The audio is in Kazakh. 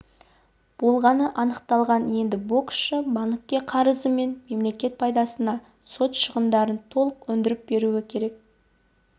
болғаны анықталған енді боксшы банкке қарызы мен мемлекет пайдасына сот шығындарын толық өндіріп беруі керек